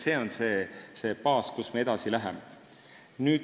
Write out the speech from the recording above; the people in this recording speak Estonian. See on see baas, kust me edasi läheme.